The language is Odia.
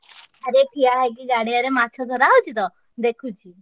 ଆରେ ଠିଆ ହେଇକି ଗାଡିଆରେ ମାଛ ଧରା ହଉଛି ତ ଦେଖୁଛି।